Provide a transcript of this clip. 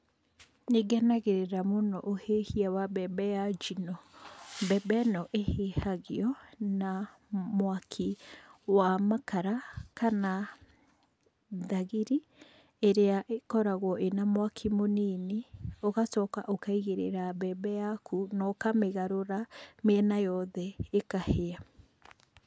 Nĩ ngenagĩrĩra mũno ũhĩhia wa mbembe ya njino, mbembe ĩno ĩhĩhagio' na mwaki wa makara kana thagiri ĩrĩa ĩkora ĩna mwaki mũnini ũgacoka ũkaigĩrĩra mbembe yaku na ũkamĩgarũra mĩena yothe' ĩkahĩa.